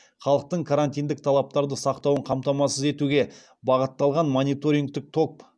халықтың карантиндік талаптарды сақтауын қамтамасыз етуге бағытталған мониторингтік топ